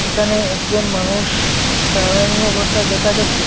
এখানে একজন মানুষ দাঁড়াইনি অবস্থায় দেখা যাচ্ছে।